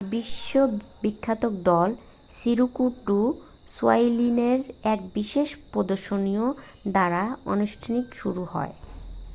বিশ্ব বিখ্যাত দল সিরকু ডু সোইলিলের এক বিশেষ প্রদর্শনীর দ্বারা অনুষ্ঠানটি শুরু হয়